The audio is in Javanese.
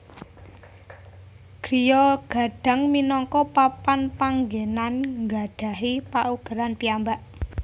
Griya Gadang minangka papan panggenan nggadhahi paugeran piyambak